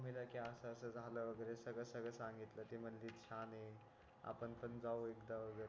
सांगितलं ममी ला कि असं असं झाल वगैरे सगळं सगळं सांगितलं ती म्हणाली छान आहे आपण पण जाऊ एकदा वगैरे